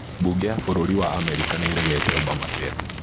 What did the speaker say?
Bunge ya bũrũri wa Amerika nĩ ĩregete Obamacare